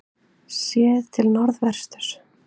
Séð til norðvesturs.